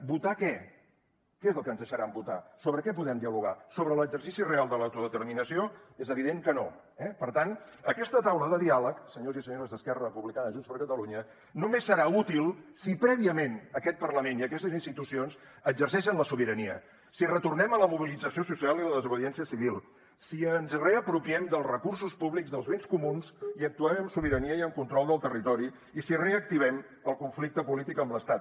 votar què què és el que ens deixaran votar sobre què podem dialogar sobre l’exercici real de l’autodeterminació és evident que no eh per tant aquesta taula de diàleg senyors i senyores d’esquerra republicana i junts per catalunya només serà útil si prèviament aquest parlament i aquestes institucions exerceixen la sobirania si retornem a la mobilització social i a la desobediència civil si ens reapropiem dels recursos públics dels béns comuns i actuem amb sobirania i amb control del territori i si reactivem el conflicte polític amb l’estat